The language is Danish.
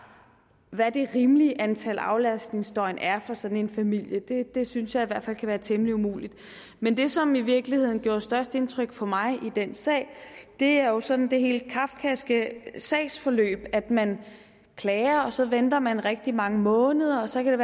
hvad det rimelige antal aflastningsdøgn er for sådan en familie det synes jeg i hvert fald kan være temmelig umuligt men det som i virkeligheden gør størst indtryk på mig i den sag er jo sådan det helt kafkaske sagsforløb med at man klager og så venter man rigtig mange måneder og så kan